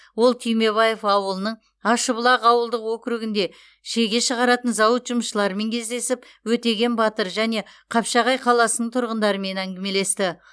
ол түймебаев ауылының ашыбұлақ ауылдық округінде шеге шығаратын зауыт жұмысшыларымен кездесіп өтеген батыр және қапшағай қаласының тұрғындарымен әңгімелесті